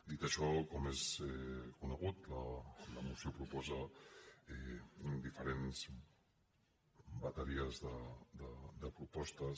dit això com és conegut la moció proposa diferents bateries de propostes